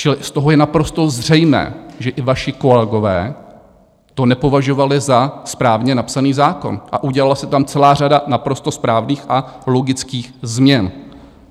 Čili z toho je naprosto zřejmé, že i vaši kolegové to nepovažovali za správně napsaný zákon, a udělala se tam celá řada naprosto správných a logických změn.